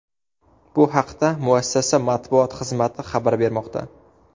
Bu haqda muassasa matbuot xizmati xabar bermoqda .